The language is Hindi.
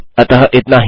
अतः इतना ही